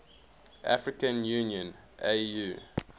african union au